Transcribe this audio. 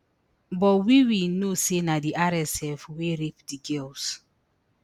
but we we know say na di rsf wey rape di girls